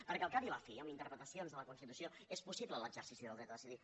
perquè al cap i a la fi amb interpretacions de la constitució és possible l’exercici del dret a decidir